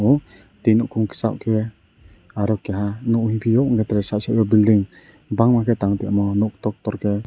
twi nukung kisa kee arrow keha nugui fio nke tgerssahe building bangma kw tang jaknaki nuk tor tor ke.